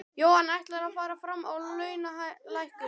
Jóhann: Ætlarðu að fara fram á launalækkun?